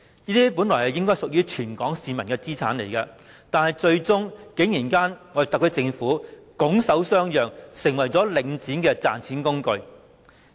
這些本來應該屬於全港市民的資產，最終特區政府竟然拱手相讓，成為領展的賺錢工具。